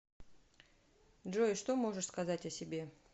джой что можешь сказать о себе